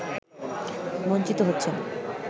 বঞ্চিত হচ্ছেন